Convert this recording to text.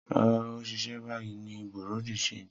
Rara, O ṣiṣẹ bayi ni bureau de Change